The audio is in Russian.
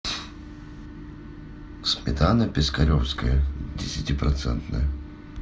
сметана пискаревская десятипроцентная